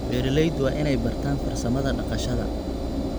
Beeraleydu waa inay bartaan farsamada dhaqashada.